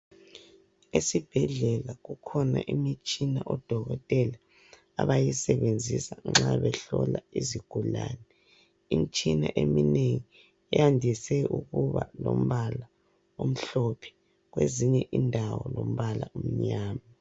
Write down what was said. Esibhedlela kukhona imitshina odokotela abayisebenzisa nxa behlola izigulane. Imitshina eminengi yandise ukuba lombala omhlophe kwezinye indawo lombala omnyama.